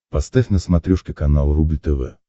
поставь на смотрешке канал рубль тв